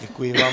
Děkuji vám.